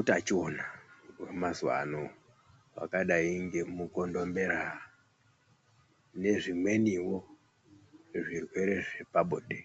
utachiona hwemazuva ano. Hwakadai ngemukondombera nezvimwenivo zvirwere zvepabonde.